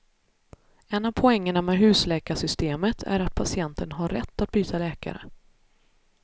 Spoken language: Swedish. En av poängerna med husläkarsystemet är att patienten har rätt att byta läkare.